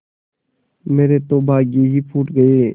मेरे तो भाग्य ही फूट गये